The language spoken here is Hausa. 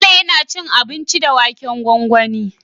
Bello yAna cin abinci da waken gwangwani